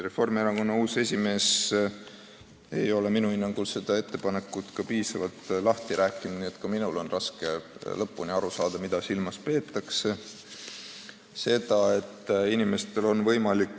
Reformierakonna uus esimees ei ole minu hinnangul seda ettepanekut piisavalt lahti rääkinud, nii et ka minul on raske lõpuni aru saada, mida silmas peetakse.